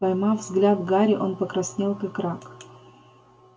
поймав взгляд гарри он покраснел как рак